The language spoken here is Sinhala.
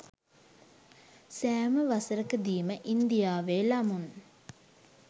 සෑම වසරකදීම ඉන්දියාවේ ළමුන්